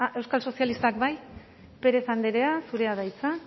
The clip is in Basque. euskal sozialistak bai pérez andrea zurea da hitza